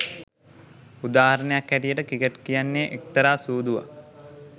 උදාහරණයක් හැටියට ක්‍රිකට් කියන්නේ එක්තරා සූදුවක්